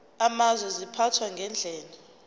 amazwe ziphathwa ngendlela